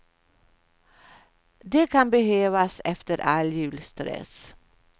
Det kan behövas efter all julstress.